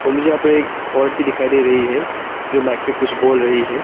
मुझे यहां पे एक औरत भी दिखाई दे रही है जो माइक पे कुछ बोल रही है।